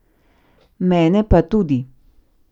Mene pa tudi.